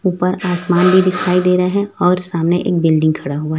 ऊपर आसमान भी दिखाई दे रहा है और सामने एक बिल्डिंग खड़ा हुआ--